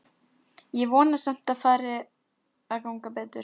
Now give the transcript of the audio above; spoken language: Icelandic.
Ég vona samt að fari að ganga betur.